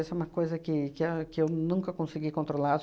Essa é uma coisa que que a que eu nunca consegui controlar.